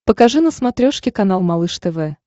покажи на смотрешке канал малыш тв